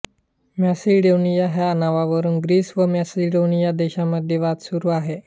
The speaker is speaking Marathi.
मॅसिडोनिया ह्या नावावरुन ग्रीस व मॅसिडोनिया देशांमध्ये वाद सुरू आहे